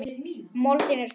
Moldin er þín.